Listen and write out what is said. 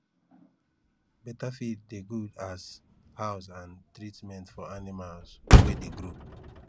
better feed dey good as house and treatment for animals wey dey grow